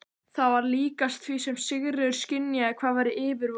Það var líkast því sem Sigríður skynjaði hvað væri yfirvofandi.